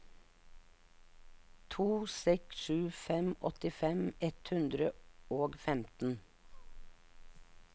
to seks sju fem åttifem ett hundre og femten